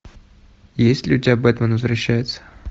есть ли у тебя бэтмен возвращается